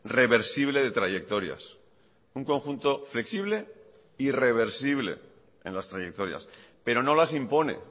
reversible de trayectorias un conjunto flexible y reversible en las trayectorias pero no las impone